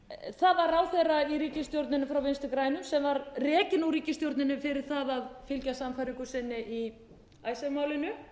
það var ráðherra í ríkisstjórninni frá vinstri grænum sem var rekinn úr ríkisstjórninni fyrir það að fylgja sannfæringu sinni í icesave málinu